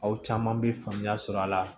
Aw caman bɛ faamuya sɔrɔ a la